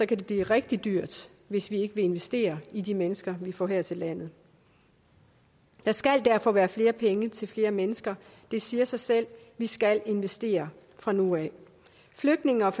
det blive rigtig dyrt hvis vi ikke vil investere i de mennesker vi får her til landet der skal derfor være flere penge til flere mennesker det siger sig selv vi skal investere fra nu af flygtninge og